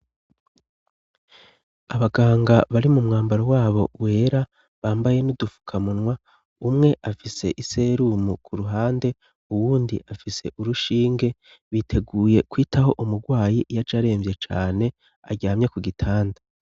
Abaganga bari mu mwambaro wabo wera bambaye n'udufukamunwa, umwe afise iserumu ku ruhande, uwundi afise urushinge, biteguye kwitaho umurwayi yaje aremvye cane , aryamye ku gitanda.